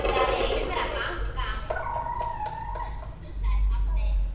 Það er einhver að banka, sagði pabbi.